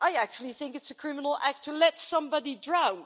I actually think it's a criminal act to let somebody drown.